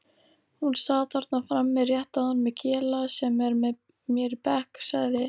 Hún sat þarna frammi rétt áðan með Kela sem er með mér í bekk sagði